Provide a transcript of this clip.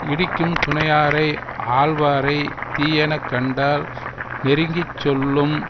இடிக்கும் துணையாரை ஆள்வாரை தீயன கண்டால் நெருங்கி சொல்லும்